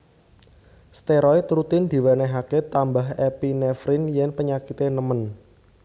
Steroid rutin diwenehake tambah epinefrin yen penyakite nemen